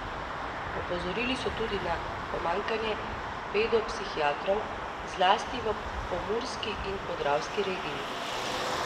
Opozorili so tudi na pomanjkanje pedopsihiatrov, zlasti v pomurski in podravski regiji.